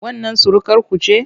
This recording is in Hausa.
Wannan surukarku ce?